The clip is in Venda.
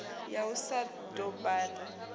ya u sa ya dombani